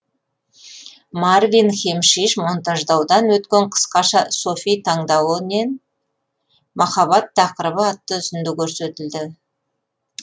марвин хемшиш монтаждаудан өткен қысқаша софи таңдауы нен махаббат тақырыбы атты үзінді көрсетілді